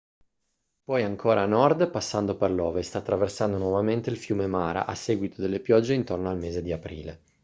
poi ancora a nord passando per l'ovest attraversando nuovamente il fiume mara a seguito delle piogge intorno al mese di aprile